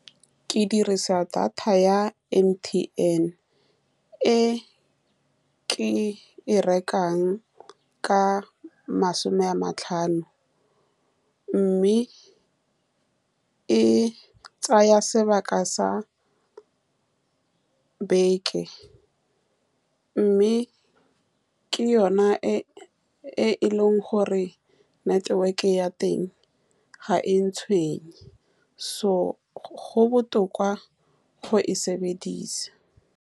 Ke dirisa data ya M_T_N, e ke e rekang ka masome a matlhano, mme e tsaya sebaka sa beke, me ke yone e-e e leng gore network-e ya teng ga e ntshwenye, so go botoka go e sebedisa.